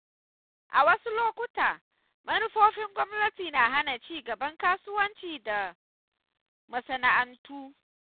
A wasu lokuta, manufofin gwamnati na hana ci gaban kasuwanci da masana'antu.